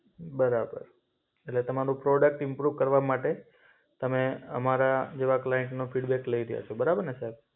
બરાબર. એટલે તમારું પ્રોડક્ટ ઇમ્પ્રુવ કરવા માટે તમે અમારા જેવા ક્લાઈન્ટનો ફિડબેક લઈ રહ્યાં છો. બરાબર ને સાહેબ?